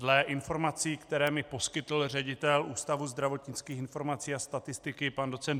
Dle informací, které mi poskytl ředitel Ústavu zdravotnických informací a statistiky pan doc.